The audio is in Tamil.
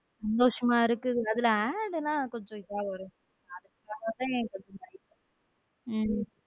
சந்தோஷமா இருக்கு அதுல AD எல்லாம் கொஞ்சம் இதுவா வருத அதுதான் உம்